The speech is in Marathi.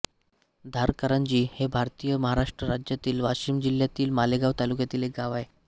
धारकारंजी हे भारतातील महाराष्ट्र राज्यातील वाशिम जिल्ह्यातील मालेगाव तालुक्यातील एक गाव आहे